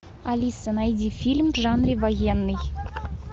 алиса найди фильм в жанре военный